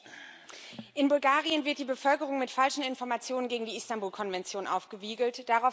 Herr Präsident! In Bulgarien wird die Bevölkerung mit falschen Informationen gegen die Istanbul Konvention aufgewiegelt.